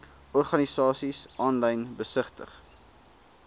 organisasies aanlyn besigtig